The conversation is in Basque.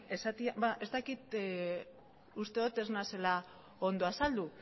ez dakit uste dut ez naizela ondo azaldu